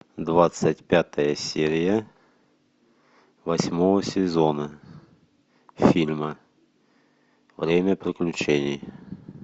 двадцать пятая серия восьмого сезона фильма время приключений